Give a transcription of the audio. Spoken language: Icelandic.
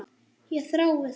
Ég þrái það.